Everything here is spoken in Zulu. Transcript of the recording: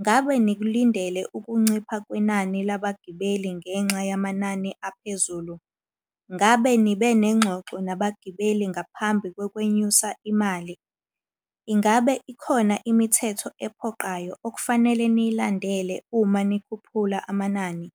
Ngabe nikulindele ukuncipha kwenani labagibeli ngenxa yamanani aphezulu? Ngabe nibe nengxoxo nabagibeli ngaphambi ngokwenyusa imali? Ingabe ikhona imithetho ephoqayo okufanele niyilandele uma nikhuphula amanani?